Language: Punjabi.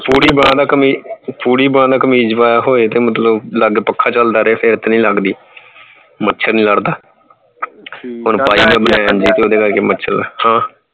ਪੂਰੀ ਬਾਂਹ ਦਾ ਕਮੀਜ਼ ਪੂਰੀ ਬਾਂਹ ਦਾ ਕਮੀਜ਼ ਪਾਇਆ ਹੋਵੇ ਤੇ ਮਤਲਬ ਲਗ ਪੱਖਾਂ ਚਲਦਾ ਰਹੇ ਤਾਂ ਫੇਰ ਤਾਂ ਨਹੀਂ ਲੱਗਦੀ ਮੱਛਰ ਨਹੀਂ ਲੜਦਾ